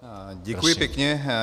Děkuji pěkně.